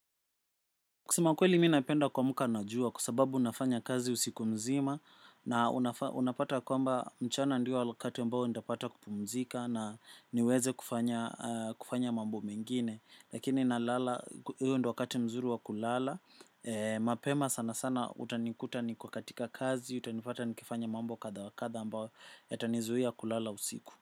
Kusema ukweli mi napenda kuamuka najua kwsababu nafanya kazi usiku mzima na unapata kwamba mchana ndiyo wakati mbao ntapata kupumzika na niweze kufanya mambo mengine lakini na lala, hiyo ndio wakati mzuri wa kulala mapema sana sana utanikuta niko katika kazi utanipata ni kifanya mambo kadha wakadha ambayo yatanizuia kulala usiku.